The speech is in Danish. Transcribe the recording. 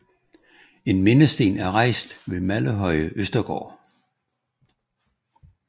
En mindesten er rejst ved Mallehøje Østergård